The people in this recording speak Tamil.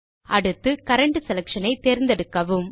அடுத்து கரண்ட் செலக்ஷன் ஐ தேர்ந்தெடுக்கவும்